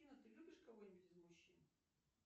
афина ты любишь кого нибудь из мужчин